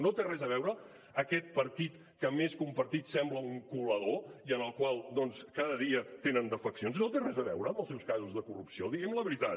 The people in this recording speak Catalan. no hi té res a veure aquest partit que més que un partit sembla un colador i en el qual doncs cada dia tenen defeccions no té res a veure amb els seus casos de corrupció digui’m la veritat